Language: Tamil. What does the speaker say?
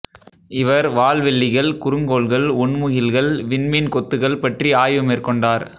இவர் வால்வெள்ளிகள் குறுங்கோள்கள் ஒண்முகில்கள் விண்மீன் கொத்துகள் பற்றி ஆய்வு மேற்கொண்டார்